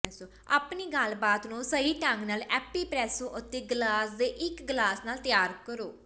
ਆਪਣੀ ਗੱਲਬਾਤ ਨੂੰ ਸਹੀ ਢੰਗ ਨਾਲ ਐਪੀਪ੍ਰੈਸੋ ਅਤੇ ਗਲਾਸ ਦੇ ਇੱਕ ਗਲਾਸ ਨਾਲ ਤਿਆਰ ਕਰੋ